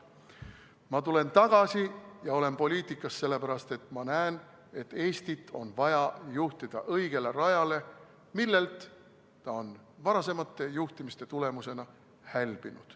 Ma olen poliitikas sellepärast, et ma näen, et Eestit on vaja juhtida õigele rajale, millelt ta on varasema juhtimise tulemusena hälbinud.